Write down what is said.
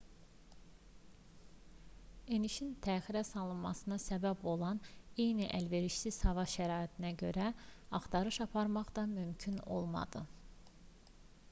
enişin təxirə salınmasına səbəb olan eyni əlverişsiz hava şəraitinə görə axtarış aparmaq da mümkün olmadı